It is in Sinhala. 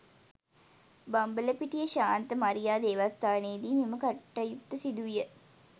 බම්බලපිටිය ශාන්ත මරියා දේවස්ථානයේදී මෙම කටයුත්ත සිදු විය